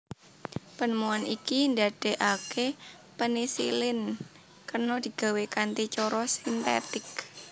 Penemuan iki ndadekaké penisilin kena digawé kanthi cara sintetik